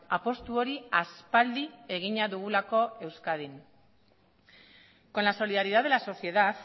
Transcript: apustu hori aspaldi egina dugulako euskadin con la solidaridad de la sociedad